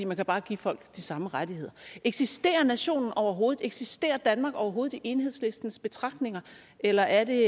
man kan bare give folk de samme rettigheder eksisterer nationen overhovedet eksisterer danmark overhovedet i enhedslistens betragtninger eller er det